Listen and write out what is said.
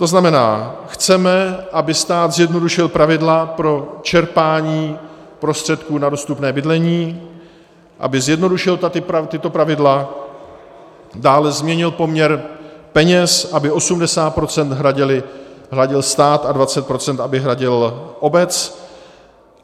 To znamená, chceme, aby stát zjednodušil pravidla pro čerpání prostředků na dostupné bydlení, aby zjednodušil tato pravidla, dále změnil poměr peněz, aby 80 % hradil stát a 20 % aby hradila obec.